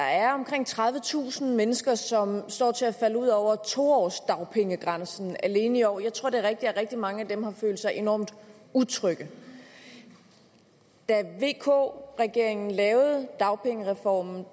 er omkring tredivetusind mennesker som står til at falde ud over to årsdagpengegrænsen alene i år jeg tror at det er rigtigt at rigtig mange af dem har følt sig enormt utrygge da vk regeringen lavede dagpengereformen